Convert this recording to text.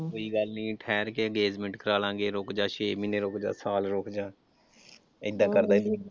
ਕੋਈ ਗੱਲ ਠਹਿਰ ਕੇ engagement ਕਰਾਲਾਂਗੇ ਰੁੱਕ ਜਾ, ਛੇ ਮਹੀਨੇ ਰੁੱਕ ਜਾ ਸਾਲ ਰੁੱਕ ਜਾ ਏਦਾਂ ਕਰਦਾ ਸੀ।